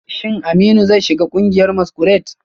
Shin Aminu zai shiga kungiyar masquerade?